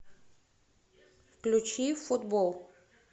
включи футбол